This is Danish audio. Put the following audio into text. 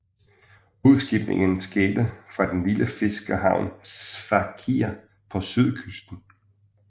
Udskibningen skete fra den lille fiskerhavn Sfakia på sydkysten